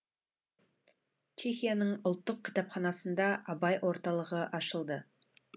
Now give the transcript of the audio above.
чехияның ұлттық кітапханасында абай орталығы ашылды